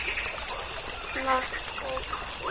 Matt og Kim.